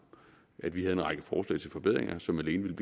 at vi havde en række forslag til forbedringer som alene ville